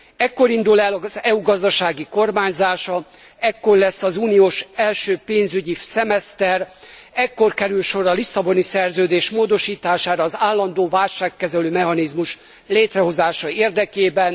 Ekkor indul el az EU gazdasági kormányzása, ekkor lesz az uniós első pénzügyi szemeszter, ekkor kerül sor a Lisszaboni Szerződés módosítására az állandó válságkezelő mechanizmus létrehozása érdekében.